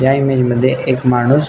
या इमेज मध्ये एक माणुस--